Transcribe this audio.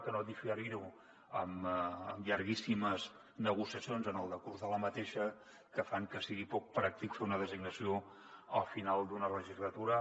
que no diferir ho amb llarguíssimes negociacions en el decurs d’aquesta que fan que sigui poc pràctic fer una designació al final d’una legislatura